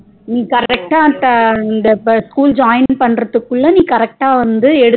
நீ correct டா இந்த school join பண்றதுகுள்ள நீ correct டா வந்து